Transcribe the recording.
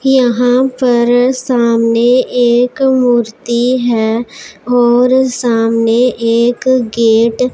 यहां पर सामने एक मूर्ति है और सामने एक गेट --